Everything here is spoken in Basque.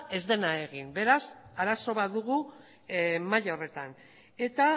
ez dena egin beraz arazo bat dugu maila horretan eta